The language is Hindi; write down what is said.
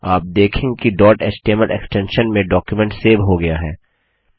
आप देखेंगे कि डॉट एचटीएमएल एक्स्टेंशन में डॉक्युमेंट सेव हो गया है